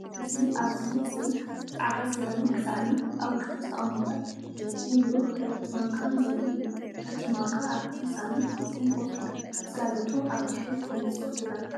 እዚ ኣዝዩ ጽሩይ ጻዕዳ ሴራሚክ ሳእኒን ኣብ ውሽጡ ዝተቐመጠ ንብሩህ ብረት ማንካን ዘርኢ እዩ። እቲ ማንካ ኣብቲ ሳእኒ ፍጹም ኮፍ ኢሉ፡ ጽላሎቱ ኣብ ድሕሪት ብንጹር ይርአ።